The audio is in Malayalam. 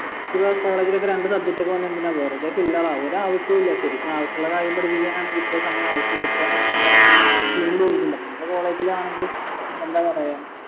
പിന്നെ college ലൊക്കെ രണ്ട് subject ഒക്കെ എന്തിനാ വെറുതെ fail ആവാൻ ഒരാവശ്യവുമില്ല ശരിക്ക് ആവശ്യമുള്ള കാര്യം പഠിപ്പിക്കാനാണെങ്കിൽ എത്ര സമയം ആവശ്യമില്ല ഇത്രേ നേരം നമ്മള college ൽ ആണെങ്ങി എന്താ പറയാ